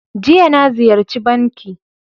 Jiya, na Ziyarchi banki.